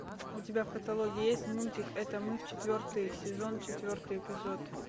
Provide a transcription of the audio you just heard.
у тебя в каталоге есть мультик это мы четвертый сезон четвертый эпизод